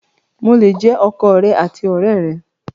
Mo le jẹ ọkọ rẹ àti ọ̀rẹ́ rẹ!